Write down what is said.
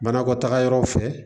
Banakɔtaga yɔrɔ fɛ